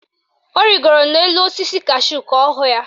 Ọ rigoro n'elu osisi kashúù ka ọ hụ ya.